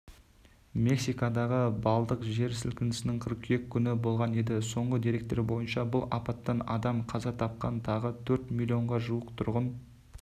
мексикадағы балдық жер сілкінісі қыркүйек күні болған еді соңғы деректер бойынша бұл апаттан адам қаза тапқан тағы төрт миллионға жуық тұрғын